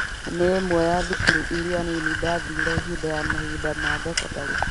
Nĩ imwe ya thukuru iria nĩnĩ ndathire hĩndĩ ya mahinda ma thekondarĩ